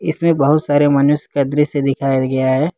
इसमें बहुत सारे मनुष्य का दृश्य दिखाया गया है।